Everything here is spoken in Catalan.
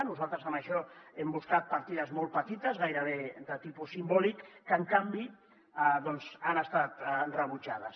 nosaltres en això hem buscat partides molt petites gairebé de tipus simbòlic que en canvi doncs han estat rebutjades